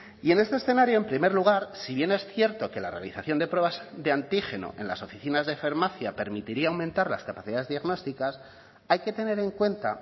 y en este escenario en primer lugar si bien es cierto que la realización de pruebas de antígeno en las oficinas de farmacia permitiría aumentar las capacidades diagnósticas hay que tener en cuenta